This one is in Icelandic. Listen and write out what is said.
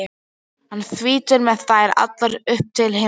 hann þýtur með þær allar upp til himna.